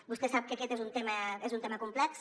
vostè sap que aquest és un tema complex